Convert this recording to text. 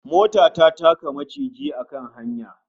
Mota ta taka maciji a kan hanya